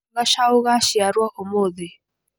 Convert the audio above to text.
Gacaũ gaciarũo ũmũthĩ.